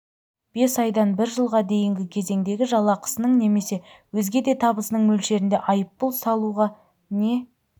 бес айдан бір жылға дейінгі кезеңдегі жалақысының немесе өзге де табысының мөлшерінде айыппұл салуға не